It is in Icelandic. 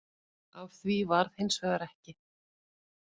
Af því varð hins vegar ekki